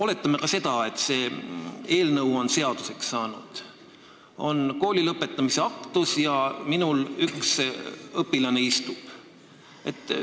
Oletame, et see eelnõu on seaduseks saanud, on kooli lõpetamise aktus, aga minul üks õpilane istub.